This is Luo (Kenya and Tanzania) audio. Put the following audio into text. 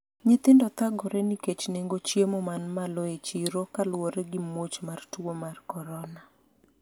nyithindo thagore nikech nengo chiemo man malo e chiro kaluwore gi muoch mar tuo mar korona